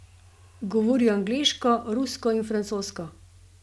Govori angleško, rusko in francosko.